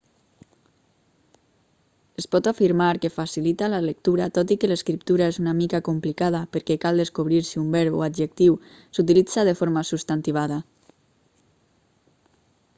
es pot afirmar que facilita la lectura tot i que l'escriptura és una mica complicada perquè cal descobrir si un verb o adjectiu s'utilitza de forma substantivada